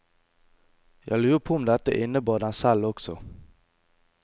Jeg lurer på om dette innebar dem selv også.